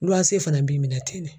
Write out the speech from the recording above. Luanse fana b'i minɛ ten ne.